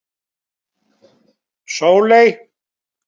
Sóley